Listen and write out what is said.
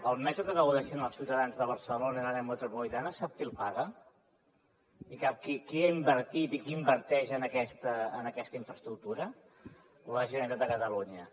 el metro de què gaudeixen els ciutadans de barcelona i de l’àrea metropolitana sap qui el paga i qui ha invertit i qui inverteix en aquesta infraestructura la generalitat de catalunya